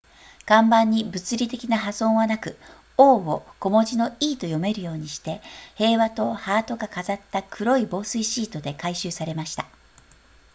看板に物理的な破損はなく o を小文字の e と読めるようにして平和とハートが飾った黒い防水シートで改修されました